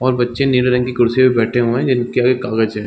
और बच्चे नीले रंग की कुर्सी पे बैठे हुए है जिनके आगे कागज हैं ।